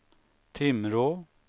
Timrå